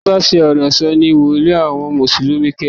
Ẹni bá ṣi ọ̀rọ̀ sọ̀ sí wòlíì àwọn mùsùlùmí kẹ́ran